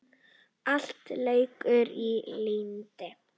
Allt leikur í lyndi.